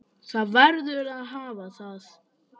Það verður að hafa það.